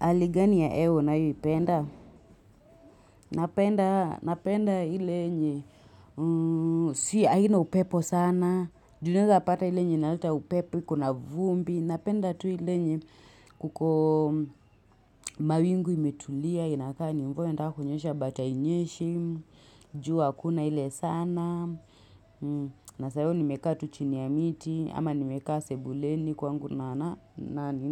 Haligani ya hewa unayo ipenda? Napenda hile nye, si aina upepo sana. Juni zaapata hile nye inalita upepo, ikuna vumbi. Napenda tu ile nye kuko mawingu imetulia, inakani mvue nita hakunyesha but hainyeshi, jua kuna ile sana. Nasayo nimekaa tuchini ya miti, ama nimekaa sebuleni kwa ngu na